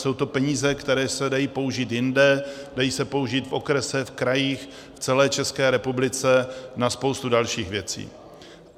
Jsou to peníze, které se dají použít jinde, dají se použít v okresech, v krajích, v celé České republice, na spoustu dalších věcí.